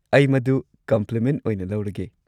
ꯑꯩ ꯃꯗꯨ ꯀꯝꯄ꯭ꯂꯤꯃꯦꯟꯠ ꯑꯣꯏꯅ ꯂꯧꯔꯒꯦ꯫